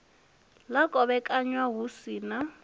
ḽa kovhekanywa hu si na